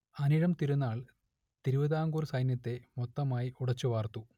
അനിഴം തിരുനാൾ തിരുവിതാംകൂർ സൈന്യത്തെ മൊത്തമായി ഉടച്ചു വാർത്തു